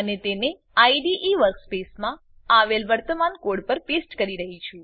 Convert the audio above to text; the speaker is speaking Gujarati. અને તેને આઇડીઇ વર્કસ્પેસમાં આવેલ વર્તમાન કોડ પર પેસ્ટ કરી રહ્યી છું